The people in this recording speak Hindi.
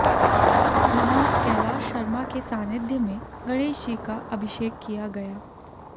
महंत कैलाश शर्मा के सान्निध्य में गणेश जी का अभिषेक किया गया